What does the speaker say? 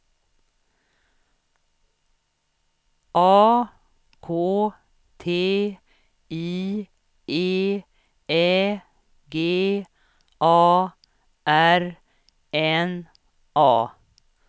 A K T I E Ä G A R N A